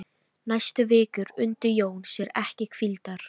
Næstu vikur undi Jón sér ekki hvíldar.